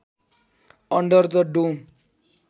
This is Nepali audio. under the dome